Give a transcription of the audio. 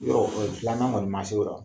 Yɔrɔ filanan kɔni man se o la.